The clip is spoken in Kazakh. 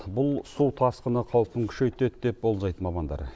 бұл су тасқыны қаупін күшейтеді деп болжайды мамандар